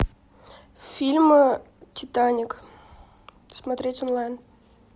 фильм титаник смотреть онлайн